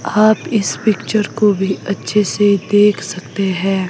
आप इस पिक्चर को भी अच्छे से देख सकते है।